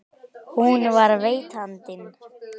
Hún var veitandinn.